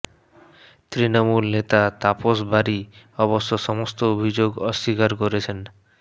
তৃণমূল নেতা তাপস বারী অবশ্য সমস্ত অভিযোগ অস্বীকার করেছেন